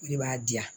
O de b'a di yan